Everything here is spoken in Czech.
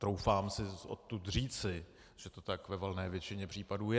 Troufám si odtud říci, že to tak ve valné většině případů je.